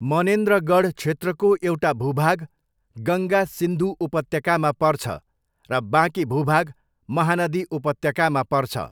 मनेन्द्रगढ क्षेत्रको एउटा भूभाग गङ्गा सिन्धु उपत्यकामा पर्छ र बाँकी भूभाग महानदी उपत्यकामा पर्छ।